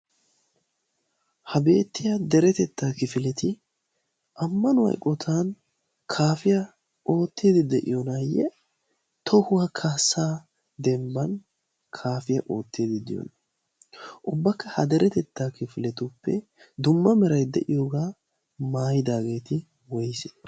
ha beettiya deretettaa kifileti ammanu aiqotan kaafiyaa ootteedi de'iyoonaayye tohuwaa kaassaa dembban kaafiyaa ootteedi de'oona. ubbakka ha deretettaa kifiletuppe dumma merai de'iyoogaa maayidaageeti aybee?